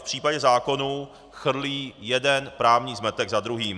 V případě zákonů chrlí jeden právní zmetek za druhým.